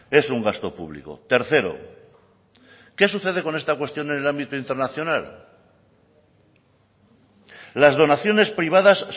es un gasto público tercero qué sucede con esta cuestión en el ámbito internacional las donaciones privadas